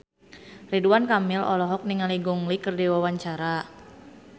Ridwan Kamil olohok ningali Gong Li keur diwawancara